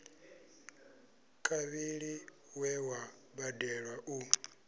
kavhili we wa badelwa u